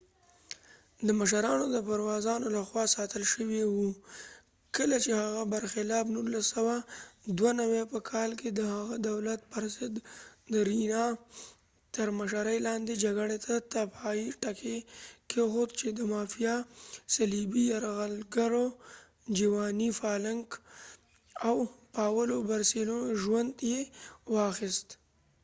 د مشرانو د پرووزانو لخوا ساتل شوي و۔ کله چې هغه په برخلاف 1992په کال کې د هغه دولت پر ضد د ریینا تر مشرۍ لاندې جګړې ته د پای ټکی کېښود چې د مافیا صلیبي یرغلګرو جیواني فالکن او پاولو بورسیلوو ژوند یې واخیست۔